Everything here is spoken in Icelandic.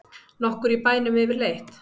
Nokkur í bænum yfirleitt?